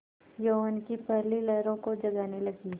यौवन की पहली लहरों को जगाने लगी